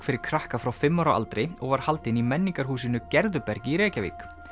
fyrir krakka frá fimm ára aldri og var haldin í menningarhúsinu Gerðubergi í Reykjavík